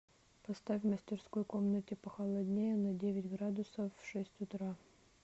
поставь в мастерской комнате похолоднее на девять градусов в шесть утра